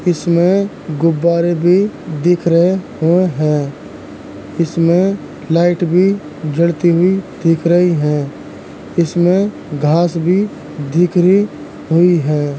इसमें गुब्बारे भी दिख रहे हैं इसमें लाइट भी जलती हुई दिख रही हैं इसमें घास भी हुई है।